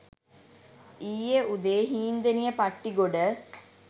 ඊයේ උදේ හීන්දෙනිය පට්ටිගොඩ